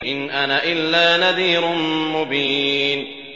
إِنْ أَنَا إِلَّا نَذِيرٌ مُّبِينٌ